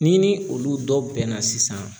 Ni ni olu dɔ bɛnna sisan